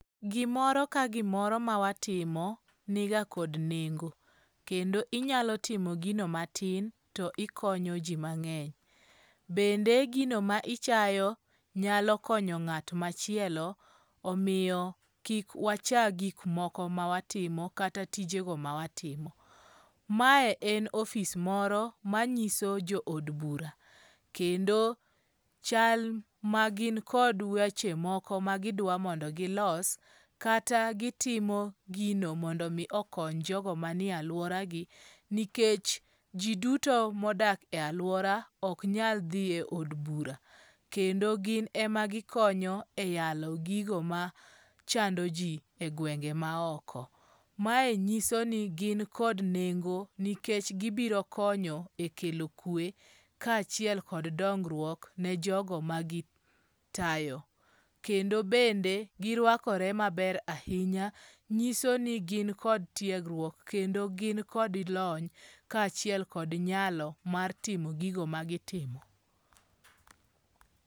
Gimoro ka gimoro ma watimo ni ga kod nengo. Kendo inyalo timo gino matin to ikonyo ji mang'eny. Bende gino ma ichayo nyalo konyo ng'at machielo. Omiyo kik wacha gik moko ma watimo kata tijego ma watimo. Mae en ofis moro ma nyiso jo od bura kendo chal ma gin kod weche moko magidwa mondo gilos kata gitimo gino mondo omi okony jodo manie aluora gi nikech ji duto modak e aluora ok nyal dhi e od bura. Kendi gin ema gi konyo e yalo gigo machando ji e gwenge ma oko. Mae nyiso ni gin kod nengo nikech gibiro konyo e kelo kwe ka achiel kod dongruok ne jogo ma gi tayo. Kendo bende girwakore maber ahinya. Nyiso ni gin kod tiegruok kendo gin kod lony ka achiel kod nyalo mar timo gigo ma gitimo.